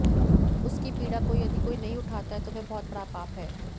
उसकी पीड़ा को यदि कोई नहीं उठाता है तो वह बहुत बड़ा पाप है